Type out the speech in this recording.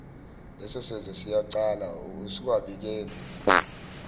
lesosenzo siyicala usuwabikele